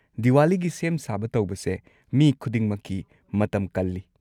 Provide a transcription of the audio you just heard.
ꯗꯤꯋꯥꯂꯤꯒꯤ ꯁꯦꯝ-ꯁꯥꯕ ꯇꯧꯕꯁꯦ ꯃꯤ ꯈꯨꯗꯤꯡꯃꯛꯀꯤ ꯃꯇꯝ ꯀꯜꯂꯤ꯫